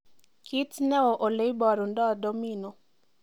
kiit neo oleiborundo domino